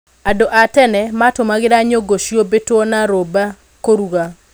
Andũ a tene matũmangĩra nyũngũ ciũmbĩtũ na rĩũmba kũruga.